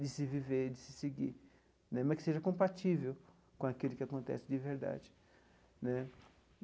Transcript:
de se viver, de se seguir né, mas que seja compatível com aquilo que acontece de verdade né.